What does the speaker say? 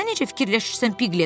Sən necə fikirləşirsən Piqlet?